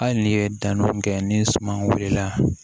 Hali n'i ye danni mun kɛ ni suman wulila